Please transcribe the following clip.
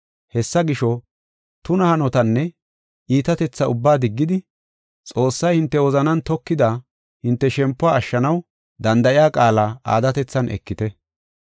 Hessa gisho, tuna hanotanne iitatetha ubbaa diggidi, Xoossay hinte wozanan tokida hinte shempuwa ashshanaw danda7iya qaala aadatethan ekite.